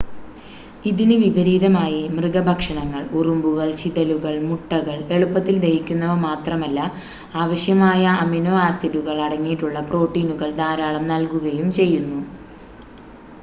ഇതിന് വിപരീതമായി മൃഗ ഭക്ഷണങ്ങൾ ഉറുമ്പുകൾ ചിതലുകൾ മുട്ടകൾ എളുപ്പത്തിൽ ദഹിക്കുന്നവ മാത്രമല്ല അവശ്യമായ അമിനോ ആസിഡുകൾ അടങ്ങിയിട്ടുള്ള പ്രോട്ടീനുകൾ ധാരാളം നൽകുകയും ചെയ്യുന്നു